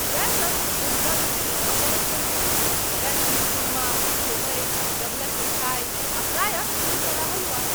वैह सभ जे हमरा लोकनि सब बरख बनबैत छी, वैह शीरकुर्मा आ सेवइ, डबलक मिठाइ आ प्रायः दूधवला हलुआ।